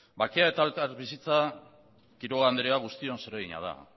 bakea eta elkarbizitza quiroga anderea guztion zeregina da